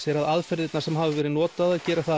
er að aðferðirnar sem hafa verið notaðar gera það